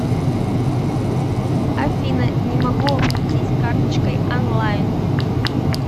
афина не могу оплатить карточкой онлайн